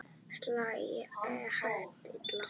Sæl, ég heiti Lilla